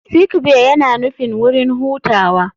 Sick bay yana nufin wurin hutawa.